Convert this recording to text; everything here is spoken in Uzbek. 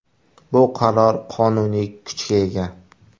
Bu qaror qonuniy kuchga ega.